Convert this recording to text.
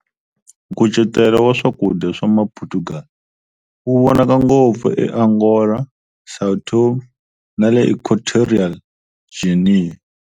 Nkucetelo wa swakudya swa ma Portugal wu vonaka ngopfu e Angola, Sao Tomé nale Equatorial Guinea.